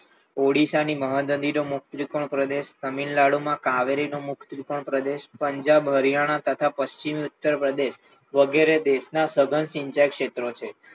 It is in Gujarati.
ઓડીશા ની મહા નદીમાં મુખ ત્રિકોણ પ્રદેશ પણ તમિલનાડુમાં કાવેરીનો મુક્ત ત્રિકોણ પ્રદેશ પંજાબ હરિયાણા તથા પશ્ચિમ ઉત્તર પ્રદેશ વગેરે દેશના તદ્દન સિંચાઈ ક્ષેત્રો છે.